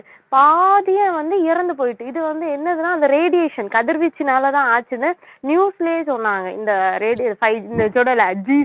பாதியா வந்து இறந்து போயிட்டு இது வந்து என்னதுன்னா அந்த radiation கதிர்வீச்சுனாலதான் ஆச்சுன்னு news லயே சொன்னாங்க இந்த radi~